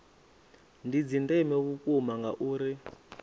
ndi dza ndeme vhukuma ngauri